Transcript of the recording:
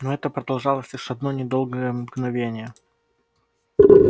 но это продолжалось лишь одно недолгое мгновение